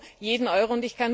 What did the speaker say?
Wir brauchen jeden Euro.